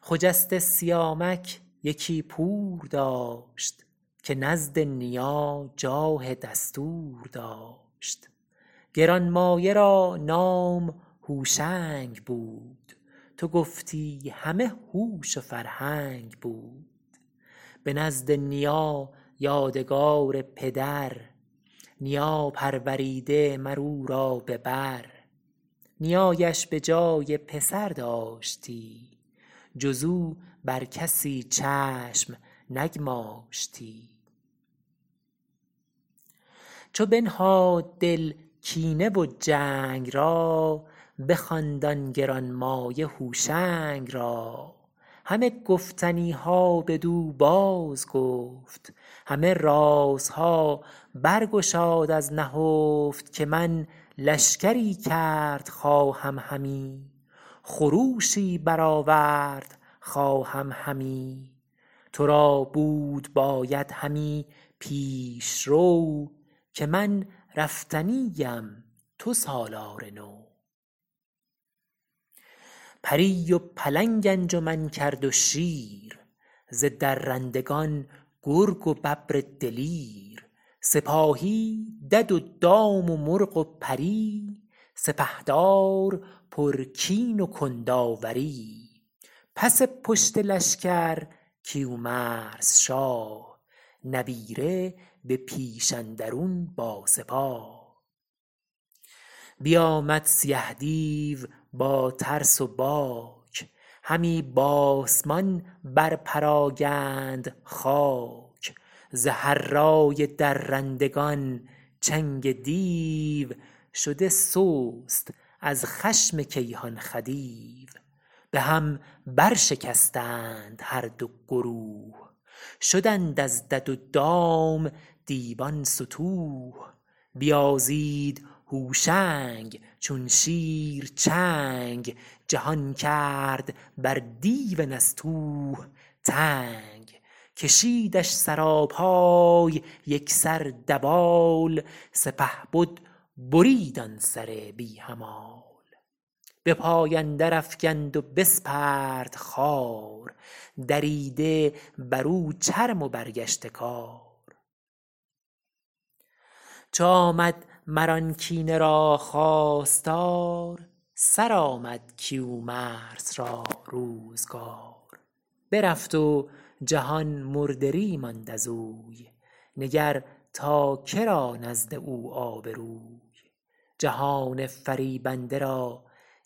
خجسته سیامک یکی پور داشت که نزد نیا جاه دستور داشت گرانمایه را نام هوشنگ بود تو گفتی همه هوش و فرهنگ بود به نزد نیا یادگار پدر نیا پروریده مر او را به بر نیایش به جای پسر داشتی جز او بر کسی چشم نگماشتی چو بنهاد دل کینه و جنگ را بخواند آن گرانمایه هوشنگ را همه گفتنی ها بدو بازگفت همه رازها بر گشاد از نهفت که من لشکری کرد خواهم همی خروشی برآورد خواهم همی تو را بود باید همی پیشرو که من رفتنی ام تو سالار نو پری و پلنگ انجمن کرد و شیر ز درندگان گرگ و ببر دلیر سپاهی دد و دام و مرغ و پری سپهدار پرکین و کنداوری پس پشت لشکر کیومرث شاه نبیره به پیش اندرون با سپاه بیامد سیه دیو با ترس و باک همی بآسمان بر پراگند خاک ز هرای درندگان چنگ دیو شده سست از خشم کیهان خدیو به هم برشکستند هر دو گروه شدند از دد و دام دیوان ستوه بیازید هوشنگ چون شیر چنگ جهان کرد بر دیو نستوه تنگ کشیدش سراپای یک سر دوال سپهبد برید آن سر بی همال به پای اندر افگند و بسپرد خوار دریده بر او چرم و برگشته کار چو آمد مر آن کینه را خواستار سرآمد کیومرث را روزگار برفت و جهان مردری ماند ازوی نگر تا که را نزد او آبروی جهان فریبنده را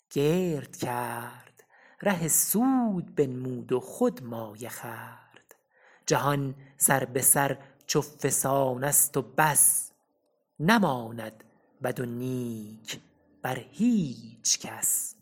گرد کرد ره سود بنمود و خود مایه خورد جهان سر به سر چو فسانست و بس نماند بد و نیک بر هیچ کس